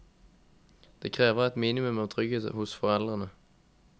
Det krever et minimum av trygghet hos foreldrene.